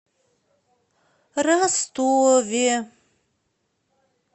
ростове